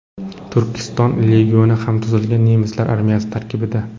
Turkiston legioni ham tuzilgan nemislar armiyasi tarkibida.